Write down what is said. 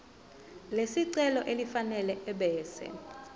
lesicelo elifanele ebese